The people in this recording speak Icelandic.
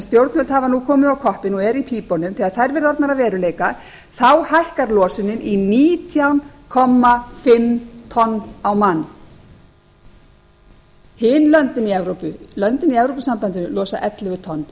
stjórnvöld hafa nú komið á koppinn og eru í pípunum þegar þær verða orðnar að veruleika hækkar losunin í nítján og hálft tonn á mann hin löndin í evrópu löndin í evrópusambandinu losa ellefu tonn